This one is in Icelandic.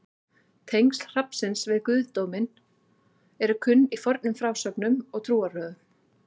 tengsl hrafnsins við guðdóminn eru kunn í fornum frásögnum og trúarbrögðum